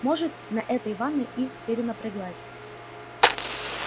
может на этой ванной и перенапряглась